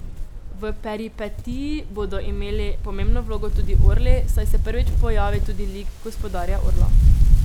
V peripetiji bodo imeli pomembno vlogo tudi orli, saj se prvič pojavi tudi lik Gospodarja orlov.